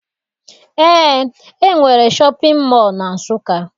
Eé, e nwere shọpịn mọọ na Nsụka.